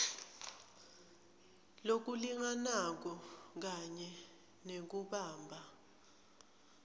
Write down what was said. lokulinganako kanye nekubamba